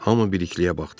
Hamı Bilikliyə baxdı.